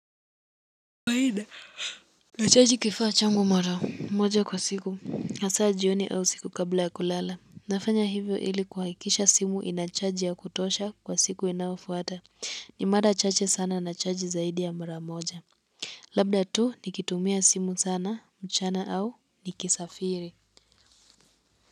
Nachaji kifaa changu mara moja kwa siku hasaa jioni au siku kabla ya kulala, nafanya hivyo ili kuhakisha simu inacharge ya kutosha kwa siku inayofuata ni mara chache sana na charge zaidi ya mara moja labda tu nikitumia simu sana mchana au nikisafiri.